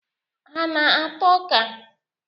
Ha ana-ata ọ́kà?